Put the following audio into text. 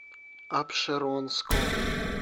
апшеронском